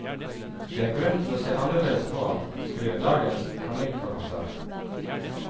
Det er grunn til å se annerledes på ham, skriver dagens kronikkforfatter.